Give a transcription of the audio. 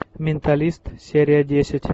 менталист серия десять